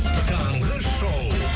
таңғы шоу